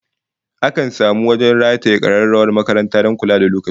Akan samu wajen rataye kararrawar makaranta don kula da lokaci